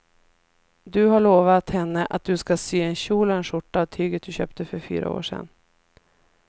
Du har lovat henne att du ska sy en kjol och skjorta av tyget du köpte för fyra år sedan.